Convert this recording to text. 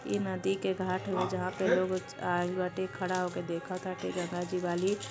ई नदी के घाट हउए जहाँ पे लोग आइल बाटे खारा होके देख ताटे जगह दिवाली --